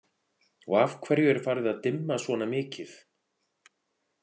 Og af hverju er farið að dimma svona mikið?